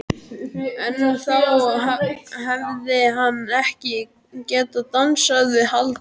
En þá hefði hann ekki getað dansað við Halldóru